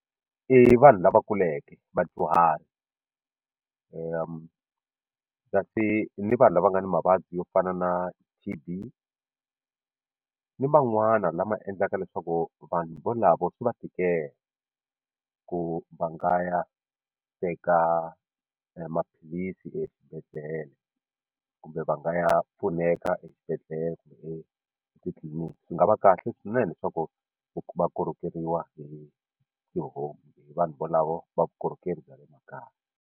I vanhu lava kuleke vadyuhari kasi ni vanhu lava nga ni mavabyi yo fana na T_B ni man'wana lama endlaka leswaku vanhu volavo swi va tikela ku va nga ya teka maphilisi exibedhlele kumbe va nga ya pfuneka exibedhlele kumbe etitliliniki swi nga va kahle swinene leswaku va kokeriwa hi home hi vanhu valavo va vukorhokeri bya le makaya.